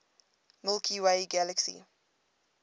milky way galaxy